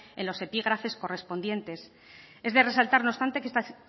en los epígrafes correspondientes es de resaltar no obstante que estas